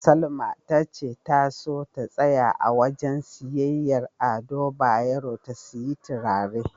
Salma tace ta so ta tsaya a wajen siyayyar Ado Bayero ta siyi turare.